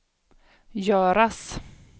göras